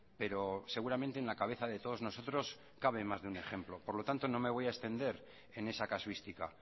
pero seguramente en la cabeza de todos nosotros cabe más de un ejemplo por lo tanto no me voy a extender en esa casuística